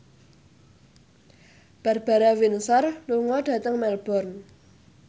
Barbara Windsor lunga dhateng Melbourne